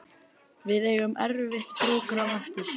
Við eigum erfitt prógramm eftir